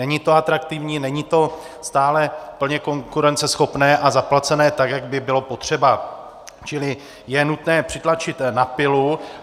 Není to atraktivní, není to stále plně konkurenceschopné a zaplacené tak, jak by bylo potřeba, čili je nutné přitlačit na pilu.